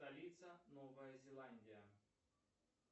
столица новая зеландия